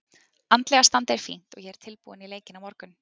Andlega standið er fínt og ég er tilbúinn í leikinn á morgun.